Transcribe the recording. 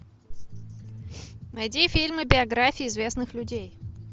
найди фильмы биографии известных людей